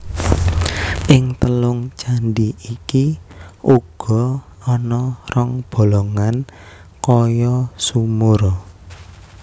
Ing telung candhi iki uga ana rong bolongan kaya sumur